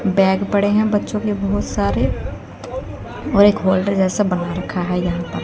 Bag बड़े हैं बच्चों के बहोत सारे और एक होटल जैसा बना रखा है यहां पर।